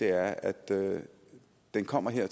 er at den kommer her